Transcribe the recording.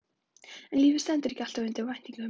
En lífið stendur ekki alltaf undir væntingum.